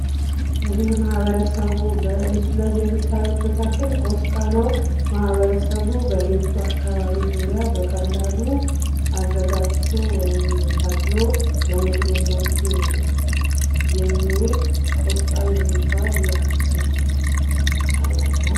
ይሄ ማህበረሰቡ በምስሉ ላይ የምታዩት ተክል ቆስጣ ነዉ። ማህበረሰቡ በቤቱ አካባቢ ዙሪያ በቀላሉ አዘጋጅቶ ወይም ተክሎ ለምግብነት የሚዉል ቆስጣ የሚባል የአትክልት አይነት ነዉ።